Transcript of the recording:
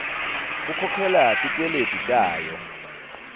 kukhokhela tikweleti tayo